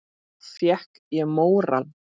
Þá fékk ég móral.